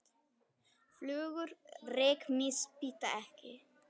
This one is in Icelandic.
Flugur rykmýs bíta ekki.